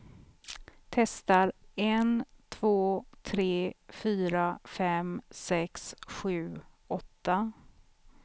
Testar en två tre fyra fem sex sju åtta.